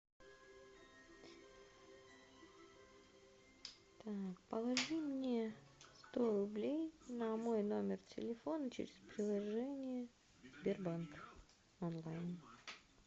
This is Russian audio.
так положи мне сто рублей на мой номер телефона через приложение сбербанк онлайн